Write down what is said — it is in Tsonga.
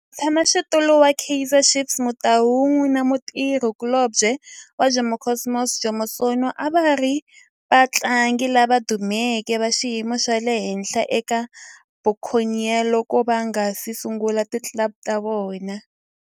Mutshama xitulu wa Kaizer Chiefs Kaizer Motaung na mutirhi kulobye wa Jomo Cosmos Jomo Sono a va ri vatlangi lava dumeke va xiyimo xa le henhla eka Buccaneers loko va nga si sungula ti club ta vona.